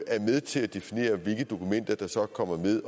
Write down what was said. er med til at definere hvilke dokumenter der så kommer med